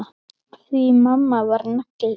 Því mamma var nagli.